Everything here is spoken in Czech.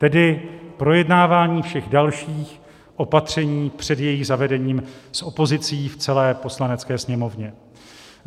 Tedy projednávání všech dalších opatření před jejich zavedením s opozicí v celé Poslanecké sněmovně.